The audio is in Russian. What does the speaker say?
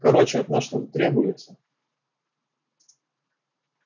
короче от нас что-то требуется